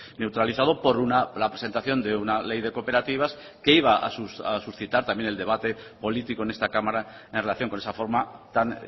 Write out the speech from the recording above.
neutralizado por la presentación de una ley de cooperativas que iba a suscitar también el debate político en esta cámara en relación con esa forma tan